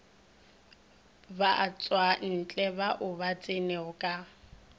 matšwantle ao a tsenego ka